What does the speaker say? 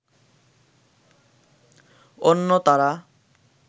অন্য তারা